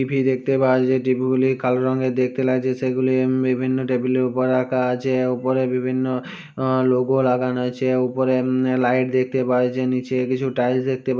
TV দেখতে পাওয়া যায় -- টিভি গুলি কালো রঙের দেখতে লাগছে। সেগুলি হমম বিভিন্ন টেবিলের ওপর রাখা আছে। ওপরে বিভিন্ন লোগো লাগানো আছে। ওপরে মম লাইট দেখতে পাওয়া যাচ্ছে। নিচে কিছু টাইলস দেখতে পাঃ --